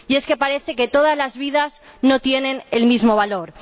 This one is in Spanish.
Y es que parece que todas las vidas no tienen el mismo valor.